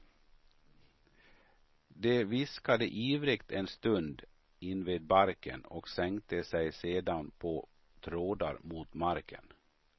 De viskade ivrigt en stund invid barken och sänkte sig sedan på trådar mot marken.